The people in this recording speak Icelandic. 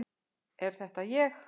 Er þetta ég!?